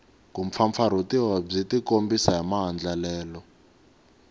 kumpfampfarhutiwa byi tikombisa hi maandlalelo